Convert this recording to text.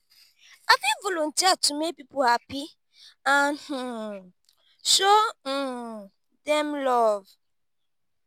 i fit volunteer to make people happy and um show um dem love.